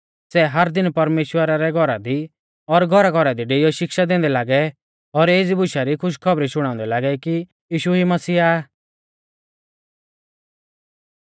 सै हर दिन परमेश्‍वरा रै घौरा दी और घौराघौरा दी डेइऔ शिक्षा दैंदै लागै और एज़ी बुशा री खुशखौबरी शुणाउंदै लागै कि यीशु ई मसीहा आ